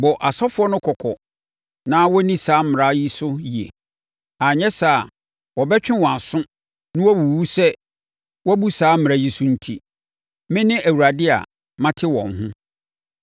“Bɔ asɔfoɔ no kɔkɔ na wɔnni saa mmara yi so yie, anyɛ saa a, wɔbɛtwe wɔn aso na wɔawuwu sɛ wɔabu saa mmara yi so enti. Mene Awurade a mate wɔn ho.